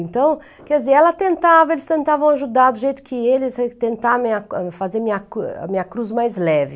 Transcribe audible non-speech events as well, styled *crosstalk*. Então, quer dizer, ela tentava, eles tentavam ajudar do jeito que eles tenta *unintelligible* fazer a minha cruz mais leve.